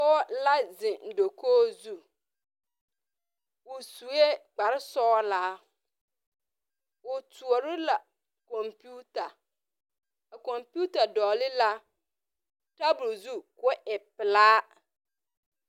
Pͻge la zeŋe dakogi zu. O sue kpare sͻgelaa. O kyoͻre la kͻmpiita. Kͻmpiita dͻgele la tabole zu ko o pelaa.